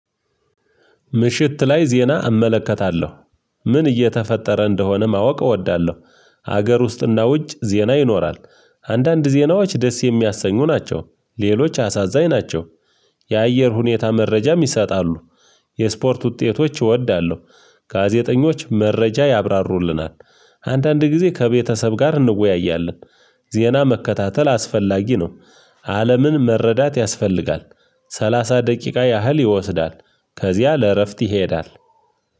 ምሽት ላይ ዜና እመለከታለሁ ምን እየተፈጠረ እንደሆነ ማወቅ እወዳለሁ። ሀገር ውስጥና ውጭ ዜና ይኖራል። አንዳንድ ዜናዎች ደስ የሚያሰኙ ናቸው። ሌሎች አሳዛኝ ናቸው። የአየር ሁኔታ መረጃም ይሰጣሉ። የስፖርት ውጤቶች እወዳለሁ። ጋዜጠኞች መረጃ ያብራሩልናል። አንዳንድ ጊዜ ከቤተሰብ ጋር እንወያያለን። ዜና መከታተል አስፈላጊ ነው። አለምን መረዳት ያስፈልጋል። ሰላሳ ደቂቃ ያህል ይወስዳል። ከዚያ ለእረፍት ይሄዳል።